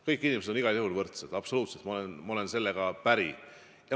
Kõik inimesed on igal juhul võrdsed, absoluutselt, ma olen sellega päri.